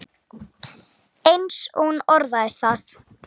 eins og hún orðaði það.